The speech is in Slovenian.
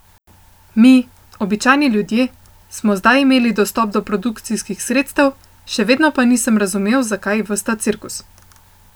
Mi, običajni ljudje, smo zdaj imeli dostop do produkcijskih sredstev, še vedno pa nisem razumel za kaj ves ta cirkus.